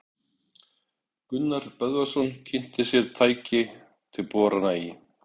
Gunnar Böðvarsson kynnti sér tæki til borana í